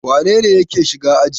Wane ne yake shiga aji?